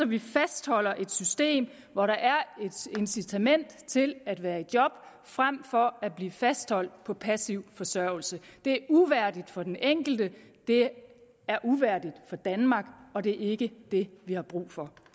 vi fastholder et system hvor der er et incitament til at være i job frem for at blive fastholdt på passiv forsørgelse det er uværdigt for den enkelte det er uværdigt for danmark og det er ikke det vi har brug for